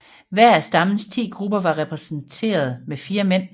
Hver af stammens ti grupper var repræsenteret med fire mand